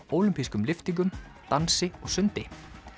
ólympískum lyftingum dansi og sundi